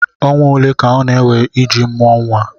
ọnwa ole ka ọ na-ewe iji mụọ nwa?